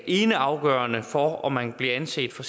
eneafgørende for om man bliver anset for